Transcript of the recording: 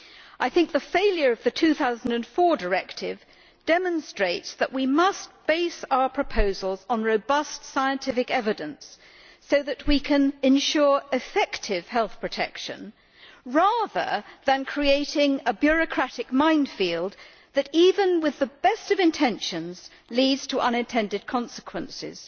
I think the failure of the 2004 directive demonstrates that we must base our proposals on robust, scientific evidence so that we can ensure effective health protection, rather than creating a bureaucratic minefield that, even with the best of intentions, leads to unintended consequences.